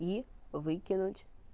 и выкинуть